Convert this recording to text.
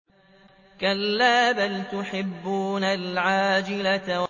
كَلَّا بَلْ تُحِبُّونَ الْعَاجِلَةَ